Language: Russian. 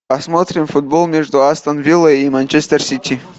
посмотрим футбол между астон виллой и манчестер сити